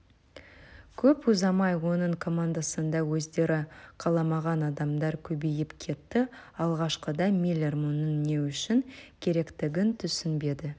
көп ұзамай оның командасында өздері қаламаған адамдар көбейіп кетті алғашқыда миллер мұның не үшін керектігін түсінбеді